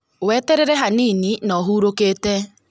Weteterere hanini no hurũkĩte